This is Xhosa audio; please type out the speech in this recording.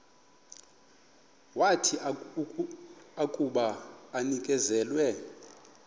wathi akuba enikezelwe